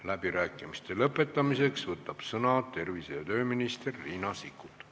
Läbirääkimiste lõpetamiseks võtab sõna tervise- ja tööminister Riina Sikkut.